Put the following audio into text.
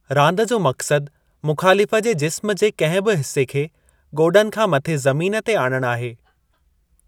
रांदि जो मक़्सदु मुख़ालिफ़ु जे जिस्मु जे कंहिं बि हिसे खे गोॾनि खां मथे ज़मीन ते आणणु आहे।